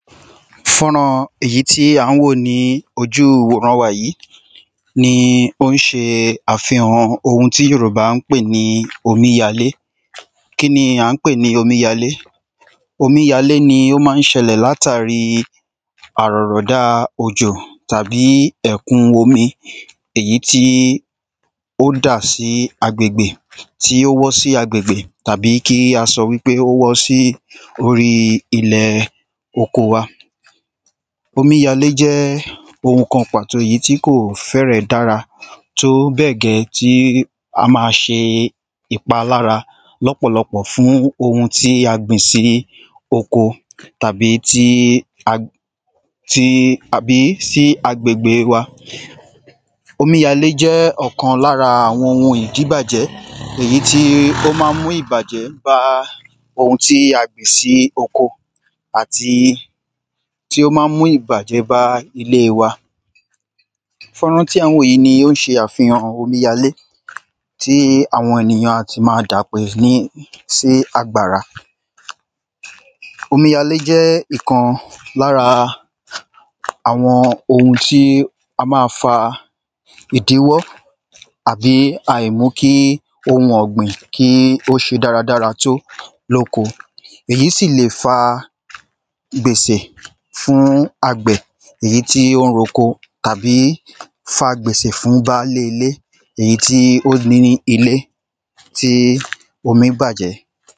Fọ́nran èyí tí à ń wò ní ojú ìwòran wa yí ni ó ń se àfihan ohun tí Yòrùbá ń pè ní omíyalé. Kín ni à ń pè ní omíyalé? Omíyalé ni ó má ń ṣẹlẹ̀ lamtàri àrọ̀rọ̀dá òjò tàbí ẹ̀kún omi èyí tí ó dà sí agbègbè tí ó wọ́ sí agbègbè. Tàbí kí a sọ wípé ó wọ́ sí orí ilẹ̀ oko wa. Tó bẹ̀ gẹ́ tí a máa ṣe ìpalára lọ́pọ̀lọpọ̀ fún ohun tí a gbìn sí oko tàbí tí a gbìn sí àbí sí agbègbè. Omíyalé jẹ́ ọ̀kan lára ohun ìdíbàjẹ́ èyí tí ó má ń mú ìbàjẹ́ bá ohun tí a gbìn sí oko àti tí ó má ń mú ìbàjẹ́ bá ilée wa. Fọ́nrán tí à ń wò yí ni ó ń ṣe àfihàn àwọn omíyalé. Tí àwọn ènìyàn a ti ma dà pè ní sí àgbàrá. Omíyalé jẹ́ ìkan lára àwọn ohun tí a má a fa ìdíwọ́ àbí àìmú kí ọ̀gbìn kí ó ṣe dára dára tó lóko. Èyí sì lè fa gbèsè fún àgbẹ̀ èyí tí ó ń roko tàbí fa gbèsèfún bálé ilé èyí tí ó ní ilé tí omí bàjẹ́.